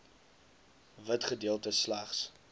wit gedeeltes slegs